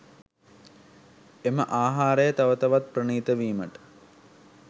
එම ආහාරය තව තවත් ප්‍රණීත වීමට